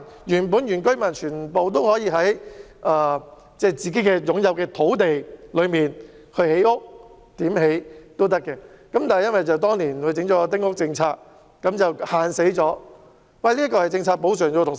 原本全部原居民都可以在自己擁有的土地上建屋，不受限制，但由於政府當年實施丁屋政策，所以才對丁屋施加規限。